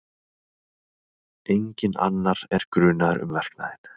Enginn annar er grunaður um verknaðinn